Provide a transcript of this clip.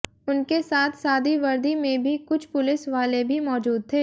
उनके साथ सादी वर्दी में भी कुछ पुलिस वाले भी मौजूद थे